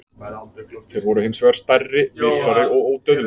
Þeir voru hins vegar stærri, vitrari og ódauðlegir.